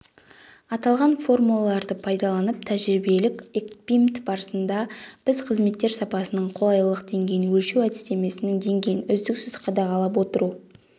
аталған формулаларды пайдаланылып тәжірибелік-экпимнт барысында біз қызметтер сапасының қолайлылық деңгейін өлшеу әдістемесінің деңгейін үздіксіз қадағалап отыру